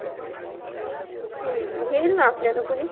हम्म घेईल ना आपल्याला कोणी?